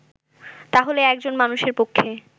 তাহলে একজন মানুষের পক্ষে